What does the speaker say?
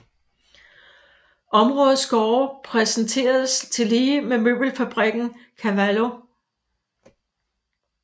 Områdets gårde præsenteres tillige med møbelfabrikken Cavallo